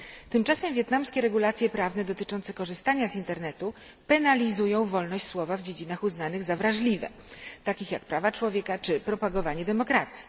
Tymczasem wietnamskie regulacje prawne dotyczące korzystania z internetu penalizują wolność słowa w dziedzinach uznanych za wrażliwe, takich jak prawa człowieka czy propagowanie demokracji.